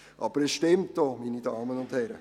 Aber es stimmt auch, meine Damen und Herren.